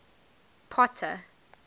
potter